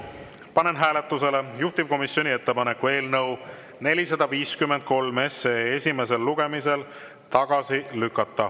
Panen hääletusele juhtivkomisjoni ettepaneku eelnõu 453 esimesel lugemisel tagasi lükata.